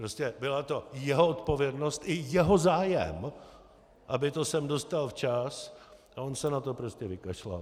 Prostě byla to jeho odpovědnost i jeho zájem, aby to sem dostal včas, a on se na to prostě vykašlal!